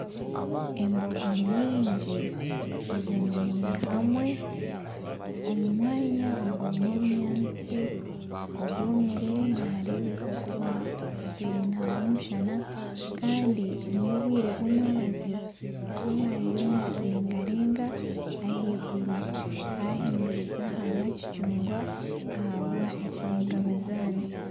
Embogo nyingi ezemereire hamwe omu mwanya ogurimu obunyaatsi obwomire nihareebeka kuba hatwire nihagwa omushana kandi n'obwire bw'omwabazyo izooba ririyo nirireegareega ahaiguru hahiduriza haba kicugwa ahabwa ekiregabazana.